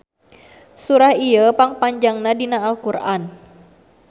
Surah ieu pang panjangna dina Al Qur'an.